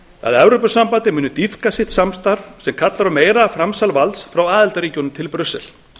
að evrópusambandið muni dýpka sitt samstarf sem kallar á meira framsal valds frá aðildarríkjunum til brussel